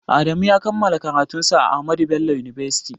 Adamu ya kammala karatun sa a Ahmadu bello university